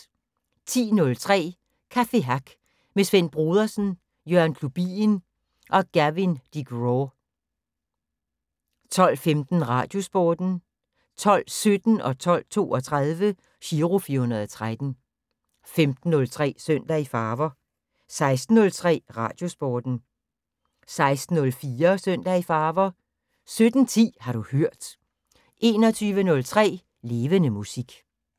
10:03: Café Hack med Svend Brodersen, Jørgen Klubien og Gavin Degraw 12:15: Radiosporten 12:17: Giro 413 12:32: Giro 413 15:03: Søndag i Farver 16:03: Radiosporten 16:04: Søndag i Farver 17:10: Har du hørt 21:03: Levende Musik